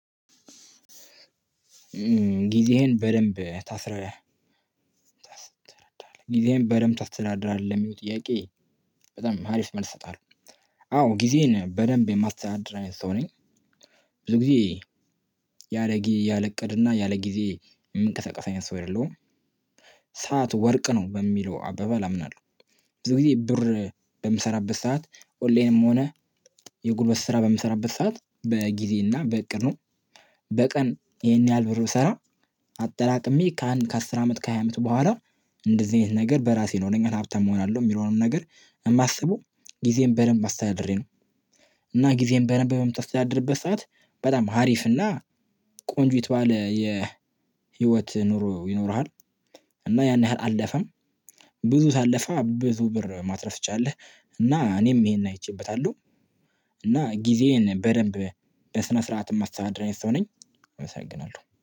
ጊዜህን በደንብ ታስረህ ጊዜህን በደንብ ተስተዳድራለህ? የሚሉ ጥያቄ በጣም አሪፍ መልስ እሰጣለሁ። አዎ ጊዜን በደንብ የማሰዳድር አይነት ሰው ነኝ። ብዙ ጊዜ ያለ ጊ ያለእቅድና ያለ ጊዜ የምንቀሳቀሰ አይነት ሰው አይደለሁም። ሰዓት ወርቅ ነው በሚለው አበባ አምናለሁ። ብዙ ጊዜ ብር በምሰራበት ሰዓት ኦንላይንም ሆነ የጉልበት ስራ በምሰራበት ሰዓት በጊዜ እና በእቅድ ነው፣ በቀን ይሄን ያህል ብር ብሰራ አጠራቅሜ ከአንድ ከአስር አመት ከሃያ አመት በኋላ እንደዚህ አይነት ነገር በራሴ ነው ለኛ ሀብታም እሆናለሁ የሚለውንም ነገር የማስበው ጊዜን በደንብ አስተዳድሬ ነው። እና ጊዜን በደንብ በምታስተዳድርበት ሰዓት በጣም ሀሪፍ እና ቆንጆ የተባለ የህይወት ኑሮ ይኖረሃል። እና ያን ያህል አልደፈም ብዙ ታለፈ ብዙ ብር ማትረፍ ትችላለህ፣ እና እኔም ይሄን አይቼበታለሁ፤ እና ጊዜዬን በደንብ በስነ ስርዓት የማስተዳደር አይነት ሰው ነኝ አመሰግናለሁ።